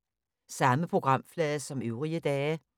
Samme programflade som øvrige dage